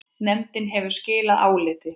Nefndin hefur skilað áliti.